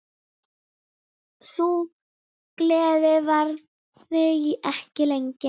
Sú gleði varði ekki lengi.